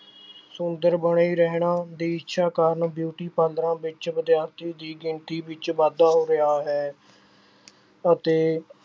ਸੁੰਦਰ ਬਣੇ ਰਹਿਣ ਦੀ ਇੱਛਾ ਕਾਰਨ beauty ਪਾਰਲਰਾਂ ਵਿੱਚ ਵਿਦਿਆਰਥੀ ਦੀ ਗਿਣਤੀ ਵਿੱਚ ਵਾਧਾ ਹੋ ਰਿਹਾ ਹੈ ਅਤੇ